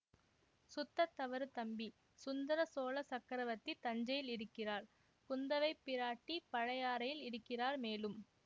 சுத்தத் தவறு தம்பி சுந்தர சோழ சக்கரவர்த்தி தஞ்சையில் இருக்கிறார் குந்தவை பிராட்டி பழையாறையில் இருக்கிறார் மேலும்